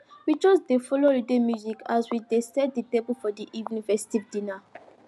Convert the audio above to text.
we just dey play holiday music as we dey set the table for the evening festive dinner